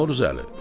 Novruzəli!